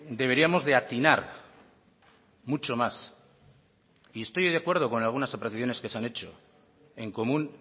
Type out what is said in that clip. deberíamos de atinar mucho más y estoy de acuerdo con algunas apreciaciones que se han hecho en común